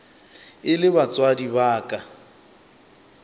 e le batswadi ba ka